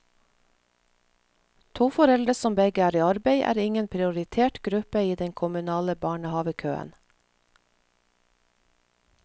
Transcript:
To foreldre som begge er i arbeid, er ingen prioritert gruppe i den kommunale barnehavekøen.